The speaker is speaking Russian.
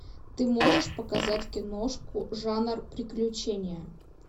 ты можешь показать киношку жанр приключения